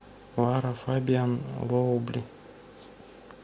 лара фабиан лоубли